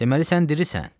Deməli sən dirisən.